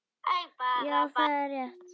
Já, það er rétt.